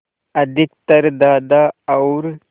अधिकतर दादा और